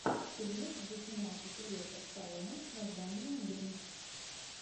фильмец где снимался сильвестр сталлоне с названием гринч